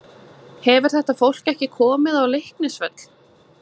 Hefur þetta fólk ekki komið á Leiknisvöll?